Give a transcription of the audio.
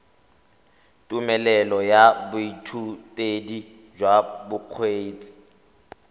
tumelelo ya boithutedi jwa bokgweetsi